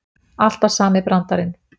Alltaf sami brandarinn.